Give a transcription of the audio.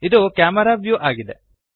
ಇದು camera view ಆಗಿದೆ